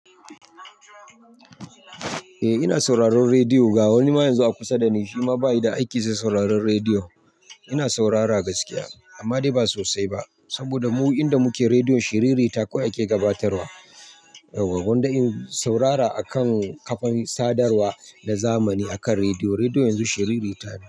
Eh ina sauraron radio ga wani man yanzu a kusa dani shima baya da aiki sai sauraron radio. Ina saurara gaskiya, amma dai ba sosai ba, saboda mu inda muke redio shiri rita kawai ake gabatarwa. To gwanda in saurara akan kafan sadarwa da zamani akan radio. Redio yanzu shiririta ne.